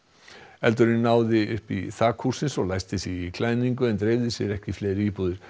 eldurinn náði upp í þak hússins og læsti sig í klæðningu en dreifði sér ekki í fleiri íbúðir